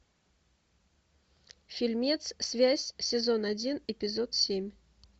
фильмец связь сезон один эпизод семь